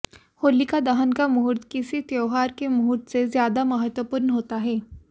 होलिका दहन का मुहूर्त किसी त्यौहार के मुहूर्त से ज्यादा महवपूर्ण होता है